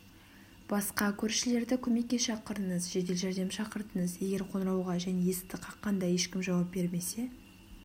басқа көршілерді көмекке шақырыңыз жедел жәрдем шақыртыңыз егер қоңырауға және есікті қаққанда ешкім жауап бермесе